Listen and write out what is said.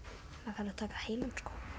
þarf að taka heilan